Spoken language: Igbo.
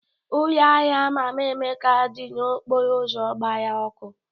Ụlọ ahịa Mama Emeka dị n'okporo ụzọ gbara ọkụ.